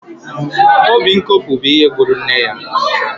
Obi nkopu bụ ihe gburu nne ya